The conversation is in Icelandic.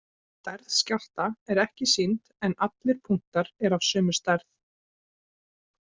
Stærð skjálfta er ekki sýnd en allir punktar eru af sömu stærð.